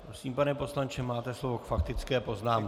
Prosím, pane poslanče, máte slovo k faktické poznámce.